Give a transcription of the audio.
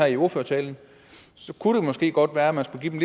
i ordførertalen kunne det måske godt være at man skulle give de